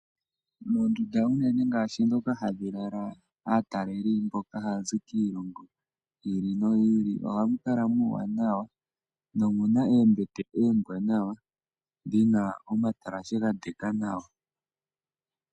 Mondunda mono ha mu lalwa kaatalelipo mboka haya zi kiilongo yi ili no yi ili, oha mu kala muuwanawa mu na oombete oombwaanawa dhi na omatalashe ga ndeka nawa.